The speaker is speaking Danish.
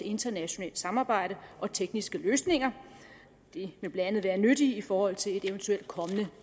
internationalt samarbejde og tekniske løsninger det vil blandt andet være nyttigt i forhold til et eventuelt kommende